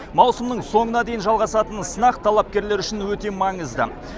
маусымның соңына дейін жалғасатын сынақ талапкерлер үшін өте маңызды